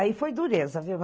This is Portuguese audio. Aí foi dureza, viu?